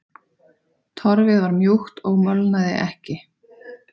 Torfið var mjúkt og molnaði ekki.